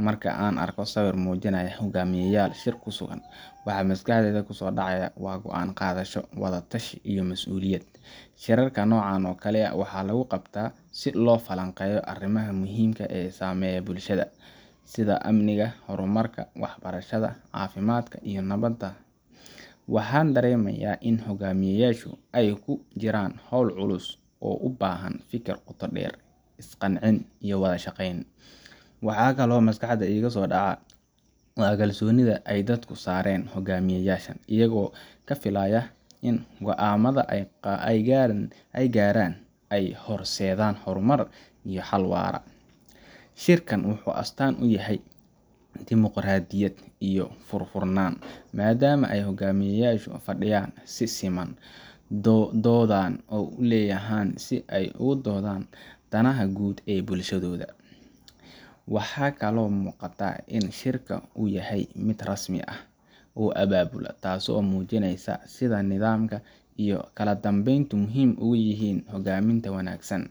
Marka aan arko sawir muujinaya hoggaamiyayaal shir ku sugan, waxa maskaxdayda ku soo dhacaya waa go’aan-qaadasho, wada-tashi, iyo mas’uuliyad. Shirarka noocan oo kale ah waxaa lagu qabtaa si loo falanqeeyo arrimaha muhiimka ah ee saameeya bulshada, sida amniga, horumarka, waxbarashada, caafimaadka, iyo nabadda. Waxaan dareemayaa in hoggaamiyayaashu ay ku jiraan hawl culus oo u baahan fikir qoto dheer, is-qancin, iyo wada shaqayn. Waxa kaloo maskaxda iiga soo dhacda waa kalsoonida ay dadku saareen hoggaamiyeyaashan, iyagoo ka filaya in go’aamada ay gaaraan ay horseedaan horumar iyo xal waara. Shirkan wuxuu astaan u yahay dimuqraadiyad iyo furfurnaan, maadaama ay hoggaamiyeyaashu fadhiyaan si siman, doodaan u leeyihiin si ay uga doodaan danaha guud ee bulshada. Waxaa kaloo muuqata in shirka uu yahay mid rasmi ah, oo abaabulan, taasoo muujinaysa sida nidaamka iyo kala dambeyntu muhiim ugu yihiin hoggaaminta wanaagsan.